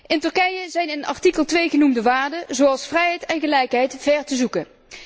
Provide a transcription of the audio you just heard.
In Turkije zijn de in artikel 2 genoemde waarden, zoals vrijheid en gelijkheid ver te zoeken.